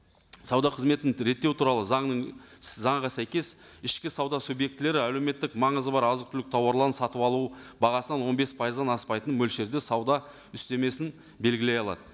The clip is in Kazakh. сауда қызметін реттеу туралы заңның заңға сәйкес ішкі сауда субъектілері әлеуметтік маңызы бар азық түлік тауарларын сатып алу бағасынан он бес пайыздан аспайтын мөлшерде сауда үстемесін белгілей алады